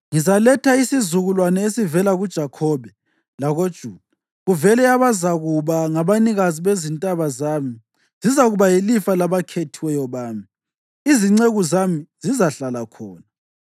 Ngizaletha isizukulwane esivela kuJakhobe, lakoJuda kuvele abazakuba ngabanikazi bezintaba zami; zizakuba yilifa labakhethiweyo bami, izinceku zami zizahlala khona.